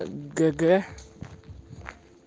г г